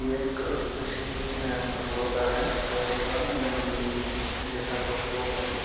यह एक अ किसी अअ रोड का है रोड का या मंडी जैसा कोई रोड है।